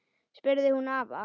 spurði hún afa.